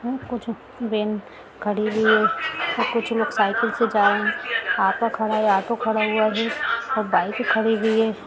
यहां कुछ वैन खड़ी हुई है और कुछ लोग साइकिल से जा रहे है ऑटो खड़ा है ऑटो खड़ा हुआ है सब बाइकें खड़ी है।